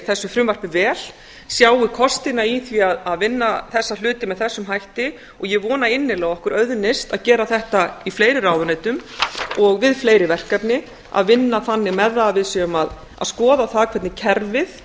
þessu frumvarpi vel sjái kostina í því að vinna þessa hluti með þessum hætti og ég vona innilega að okkur auðnist að gera þetta í fleiri ráðuneytum og við fleiri verkefni að vinna þannig með það að við séum að skoða það hvernig kerfið